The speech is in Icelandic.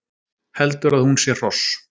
Heldur að hún sé hross